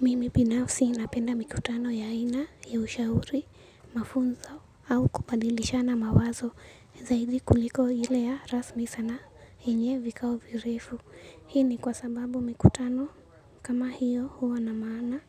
Mimi binafsi napenda mikutano ya aina, ya ushauri, mafunzo au kubadilishana mawazo zaidi kuliko ile ya rasmi sana yenye vikao virefu. Hii ni kwa sababu mikutano kama hiyo huwa na maana